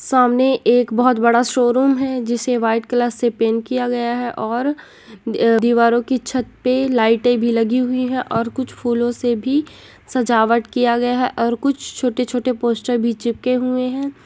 सामने एक बहुत बड़ा शोरूम है जिसे व्हाइट कलर से पैंट किया गया है और दीवारों की छत पे लाइट भी लगी हुई है और कुछ फूलो से सजावट किया गया है और कुछ छोटे-छोटे पोस्टर भी चिपके हुए है।